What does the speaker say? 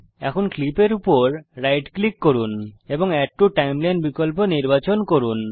এখন ক্লিপের উপর রাইট ক্লিক করুন এবং এড টু টাইমলাইন বিকল্প নির্বাচন করুন